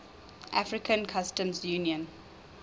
african customs union